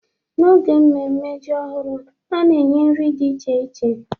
N'oge mmemme ji ọhụrụ, a na-enye nri dị iche iche